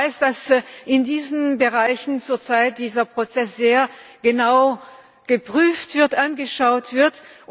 Ich weiß, dass in diesen Bereichen zurzeit dieser Prozess sehr genau geprüft und angeschaut wird.